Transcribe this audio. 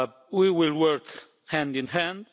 We will work hand in hand.